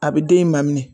A bɛ den in ma minɛ